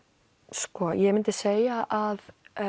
sko ég myndi segja að